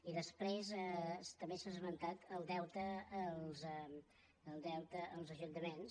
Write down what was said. i després també s’ha esmentat el deute als ajuntaments